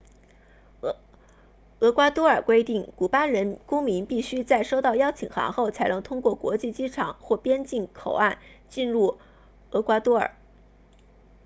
厄瓜多尔规定古巴公民必须在收到邀请函后才能通过国际机场或边境口岸进入厄瓜多尔